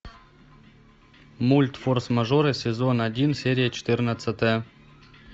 мульт форс мажоры сезон один серия четырнадцатая